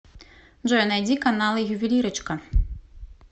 джой найди каналы ювелирочка